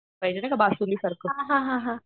पाहिजे ते का बासुंदी सारखं